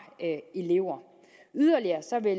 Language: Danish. elever